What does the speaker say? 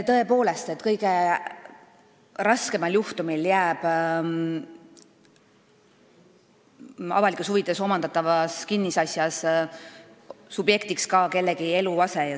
Tõepoolest, kõige raskemal juhul jääb avalikes huvides omandatava kinnisasja puhul subjektiks kellegi eluase.